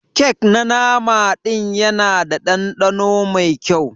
Kek na nama din Yana da dandano Mai kyau?